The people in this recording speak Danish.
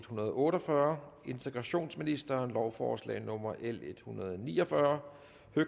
hundrede og otte og fyrre integrationsministeren lovforslag nummer l en hundrede og ni og fyrre